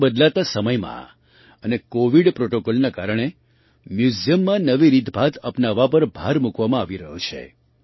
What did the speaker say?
આજે બદલાતા સમયમાં અને કૉવિડ પ્રૉટૉકૉલના કારણે મ્યૂઝિયમમાં નવી રીતભાત અપનાવવા પર ભાર મૂકવામાં આવી રહ્યો છે